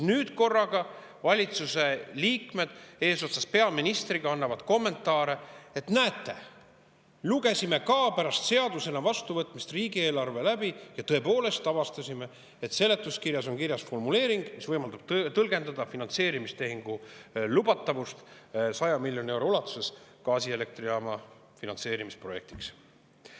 Nüüd korraga valitsuse liikmed eesotsas peaministriga annavad kommentaare: näete, lugesime ka pärast seadusena vastuvõtmist riigieelarve läbi ja tõepoolest avastasime, et seletuskirjas on kirjas formuleering, mis võimaldab tõlgendust, et finantseerimistehing 100 miljoni euro ulatuses gaasielektrijaama ehitusprojektiks on lubatud.